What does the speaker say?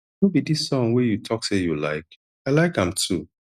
no be dis song wey you talk say you like i like am too